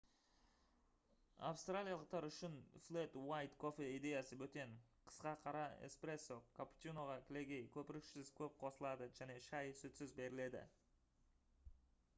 австралиялықтар үшін «флэт уайт» кофе идеясы бөтен. қысқа қара — «эспрессо» капучиноға кілегей көпіршіксіз көп қосылады және шай сүтсіз беріледі